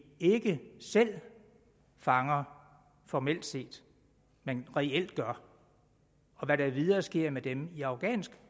ikke selv fanger formelt set men reelt gør og hvad der videre sker med dem i afghansk